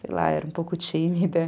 Sei lá, era um pouco tímida.